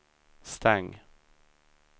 stäng